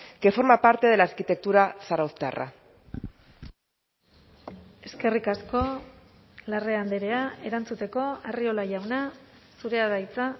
que forma parte de la arquitectura zarauztarra eskerrik asko larrea andrea erantzuteko arriola jauna zurea da hitza